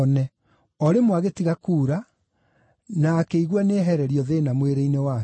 O rĩmwe agĩtiga kuura, na akĩigua nĩehererio thĩĩna mwĩrĩ-inĩ wake.